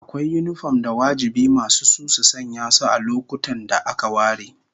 Akwai yinifom da wajibi masu su su sanya su a lokutan da aka ware